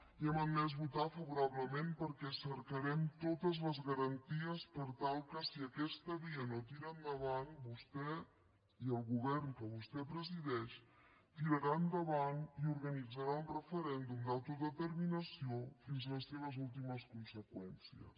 i hem admès votar favorablement perquè cercarem totes les garanties per tal que si aquesta via no tira endavant vostè i el govern que vostè presideix tirarà endavant i organitzarà un referèndum d’autodeterminació fins a les seves últimes conseqüències